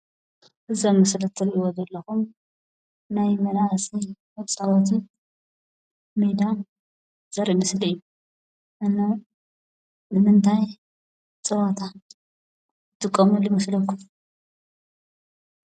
እዞም ኣብ ምስሊ እትርእይዎ ዘለኩም ናይ መናእሰይ መፃወቲ ሜዳ ዘርኢ ምስሊ እዩ። ንምንታይ ፀወታ ይጥቀሙሉ ይመስለኩም?